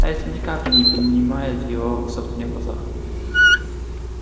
это ни капли не поднимет его в собственных глазах